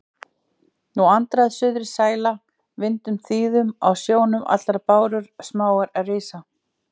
Nú andar suðrið sæla vindum þýðum, á sjónum allar bárur smáar rísa